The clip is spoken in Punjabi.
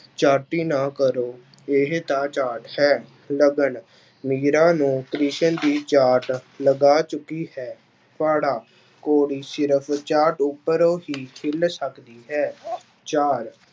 ਚਾਟੀ ਨਾ ਕਰੋ ਇਹ ਤਾਂ ਚਾਰਟ ਹੈ, ਲਗਨ ਮੀਰਾ ਨੂੰ ਕ੍ਰਿਸ਼ਨ ਦੀ ਚਾਰਟ ਲਗਾ ਚੁੱਕੀ ਹੈ, ਪਾੜਾ ਘੋੜੀ ਸਿਰਫ਼ ਚਾਰਟ ਉਪਰੋਂ ਹੀ ਹਿੱਲ ਸਕਦੀ ਹੈ ਚਾਰ